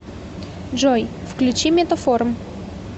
джой включи метаформ